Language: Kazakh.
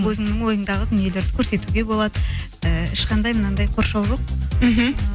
өзіңнің ойыңдағы дүниелерді көрсетуге болады ііі ешқандай мынандай қоршау жоқ мхм